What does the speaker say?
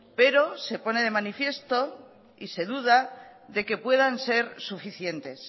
pero se pone de manifiesto y se duda de que puedan ser suficientes